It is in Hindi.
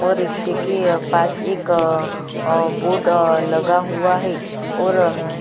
और रिक्से के पास अअअ अअअ बोर्ड अअअ लगा हुआ है और --